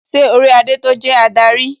Ṣé orí adé tó jẹ́ adarí?